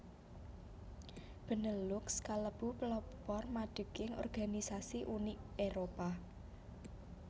Benelux kalebu pelopor madeging organisasi Uni Éropah